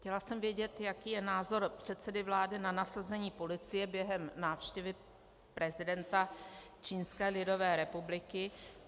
Chtěla jsem vědět, jaký je názor předsedy vlády na nasazení policie během návštěvy prezidenta Čínské lidové republiky.